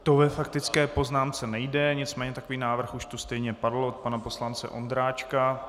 To ve faktické poznámce nejde, nicméně takový návrh už tu stejně padl od pana poslance Ondráčka.